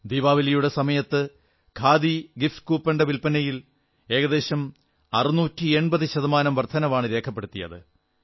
ദീപാവലിയുടെ സമയത്ത് ഖാദി ഗിഫ്റ്റ് കൂപ്പണിന്റെ വിൽപനയിൽ ഏകദേശം 680 ശതമാനം വർധനവാണ് രേഖപ്പെടുത്തപ്പെട്ടത്